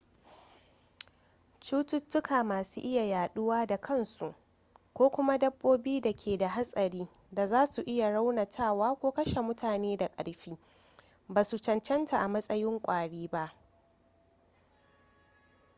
cututuka masu iya yaduwa da kansu ko kuma dabbobi da ke da hatsari da za su iya raunatawa ko kashe mutane da karfi ba su cancanta a matsayin kwari ba